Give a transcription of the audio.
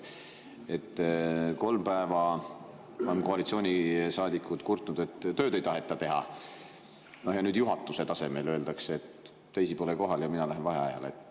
Kolm päeva on koalitsioonisaadikud kurtnud, et tööd ei taheta teha, ja nüüd juhatuse tasemel öeldakse, et teisi pole kohal ja mina lähen vaheajale.